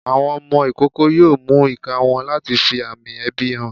Àwọn ọmọ ikoko yoo mú ika wọn latí fí amí ebi hán